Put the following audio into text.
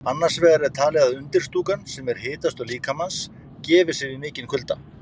Annars vegar er talið að undirstúkan, sem er hitastöð líkamans, gefi sig við mikinn kulda.